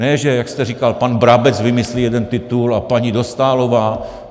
Ne že, jak jste říkal, pan Brabec vymyslí jeden titul a paní Dostálová.